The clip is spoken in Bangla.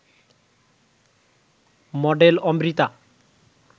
মডেল অমৃতা